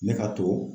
Ne ka to